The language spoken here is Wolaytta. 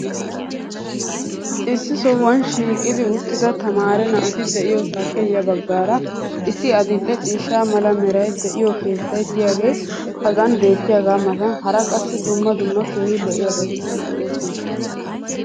Issi sohuwan shiiqqi uttida tamaare naati diyoosaappe ya bagaara issi adil'e ciishsha mala meray de'iyo keettay diyaagee hagan beetiyaagaa matan hara qassi dumma dumma keehi lo'iyaabatikka de'oosona.